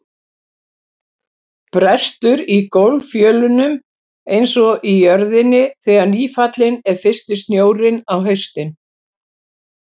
Brestur í gólffjölunum einsog í jörðinni þegar nýfallinn er fyrsti snjórinn á haustin.